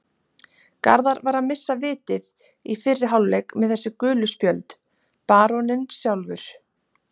Garðar var að missa vitið í fyrri hálfleik með þessi gulu spjöld, baróninn sjálfur.